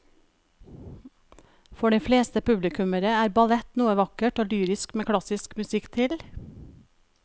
For de fleste publikummere er ballett noe vakkert og lyrisk med klassisk musikk til.